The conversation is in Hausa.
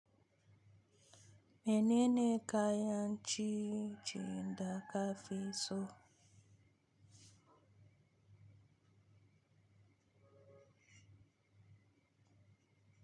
Menene kayan ciye-ciyen da ka fi so?